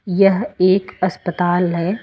यह एक अस्पताल है।